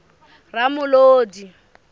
ramolodi